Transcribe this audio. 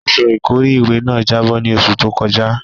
Aṣọ ìkọ́rí ìwẹ̀ náà jábọ́ ní oṣù tó kọjá.